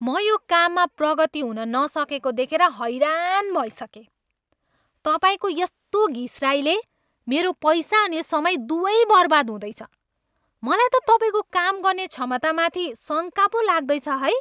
म यो काममा प्रगति हुन नसकेको देखेर हैरान भइसकेँ। तपाईँको यस्तो घिस्राइले मेरो पैसा अनि समय दुवै बर्बाद हुँदैछ, मलाई त तपाईँको काम गर्ने क्षमतामाथि शङ्का पो लाग्दैछ है।